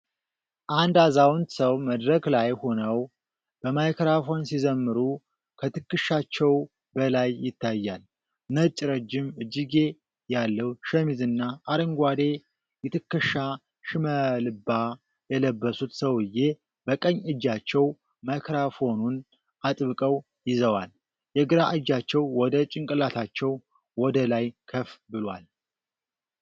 አንድ አዛውንት ሰው መድረክ ላይ ሆነው በማይክሮፎን ሲዘምሩ ከትከሻቸው በላይ ይታያል። ነጭ ረጅም እጅጌ ያለው ሸሚዝና አረንጓዴ የትከሻ ሽመልባ የለበሱት ሰውዬ፣ በቀኝ እጃቸው ማይክሮፎኑን አጥብቀው ይዘዋል። የግራ እጃቸው ወደ ጭንቅላታቸው ወደ ላይ ከፍ ብሏል።